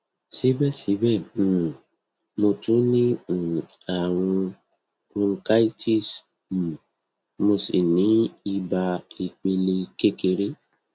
síbẹsíbẹ um mo tún ní um àrùn bronchitis um mo sì ní ibà ìpele kékeré